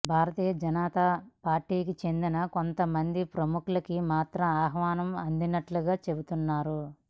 భారతీయ జనతా పార్టీకి చెందిన కొంత మంది ప్రముఖులికి మాత్రం ఆహ్వానం అందినట్లుగా చెబుతున్నారు